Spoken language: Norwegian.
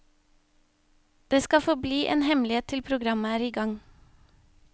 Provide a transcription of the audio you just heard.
Det skal forbli en hemmelighet til programmet er i gang.